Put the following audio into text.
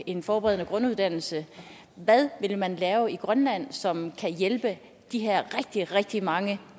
en forberedende grunduddannelse hvad vil man lave i grønland som kan hjælpe de her rigtig rigtig mange